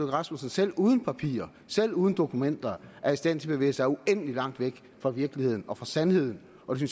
rasmussen selv uden papirer selv uden dokumenter er i stand til at bevæge sig uendelig langt væk fra virkeligheden og fra sandheden og det